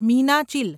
Meenachil